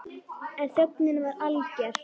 En þögnin var alger.